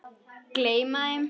Gleyma þeim.